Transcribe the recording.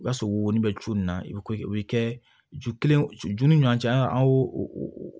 I b'a sɔrɔ wo bɛ cu na i bɛ o bɛ kɛ ju kelen ju ni ɲɔan cɛ an y'o o